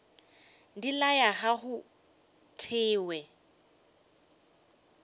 di laya ga go thewe